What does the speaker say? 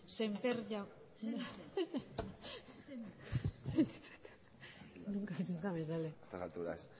sémper jauna zurea da hitza egun on